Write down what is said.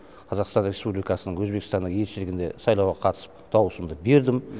қазақстан республикасының өзбекстандағы елшілігінде сайлауға қатысып даусымды бердім